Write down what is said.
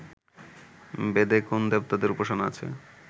বেদে কোন্ দেবতাদের উপাসনা আছে